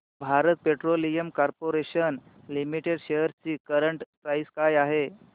Bharat petroleum corporation limited shares ची current price काय आहे